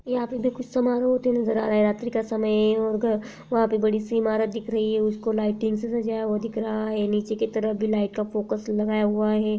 यहां पे भी कुछ समारोह होते नज़र आ रहा हैं रात्रि का समय वहाँ पे बड़ी सी इमारत दिख रही है उसको लाइटिंग से सजाया हुआ दिख रहा है नीचे की तरफ भी लाइट का फोकस लगाया हुआ है ।